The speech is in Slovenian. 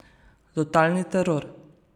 Totalni teror.